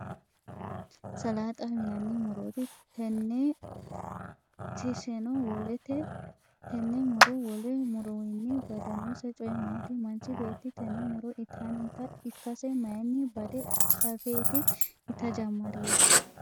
salaaxaho yinanni muro tenneetinso wolete? tenne muro wole murowiinni badannose coyi maati? manchi beetti tenne muro intannita ikkase mayiinni bade afeeti ita jammarihu?